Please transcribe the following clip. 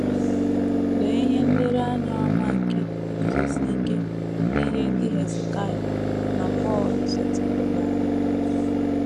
Lee ihe nlereanya ọma nke iguzosi ike n’ihe ndị Hezekaịa na Pọl setịpụụrụ anyị!